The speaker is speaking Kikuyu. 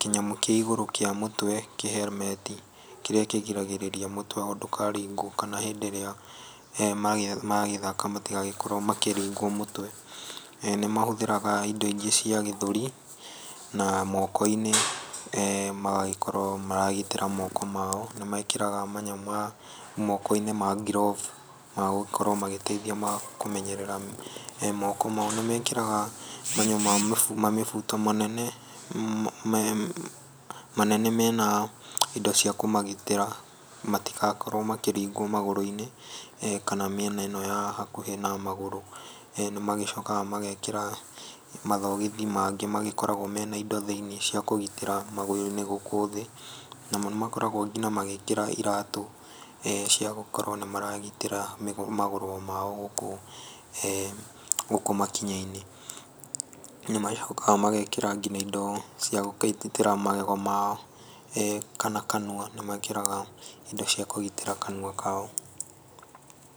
kĩnyamũ kĩa igũrũ kĩa mutwe, kĩhelmeti kĩrĩa kĩgiragĩrĩria mũtwe ndũkaringwo kana hĩndĩ ĩrĩa maragĩthaka matigagĩkorwo makĩringwo mũtwe. Nĩ mahũthĩraga indo ingĩ cia gĩthũri, na moko-inĩ, magagĩkorwo maragitĩra moko mao, nĩ mekĩraga manyamũ ma moko-inĩ ma ngirovu ma gũgĩkorwo magĩteithia kũmenyerera moko mao. Nĩ mekĩraga mamĩbuto manene mena indo cia kũmagitĩra matigakorwo makĩringwo magũrũ-inĩ, kana mĩena ĩno ya hakũhĩ na magũrũ. Nĩ magĩcokaga magekĩra mathogithi mangĩ magĩkoragwo me na indo thĩ-inĩ cia kũgitĩra magũrũ-inĩ gũkũ thĩ. Namo nĩ makoragwo nginya magĩkĩra iratũ cia gũkorwo nĩ maragitĩra magũrũ mao kũu gũkũ makinya-inĩ. Nĩ macokaga magekĩra nginya indo cia gũkĩgitĩra magego mao, kana kanua, nĩ mekĩraga indo cia kũgitĩra kanua kao.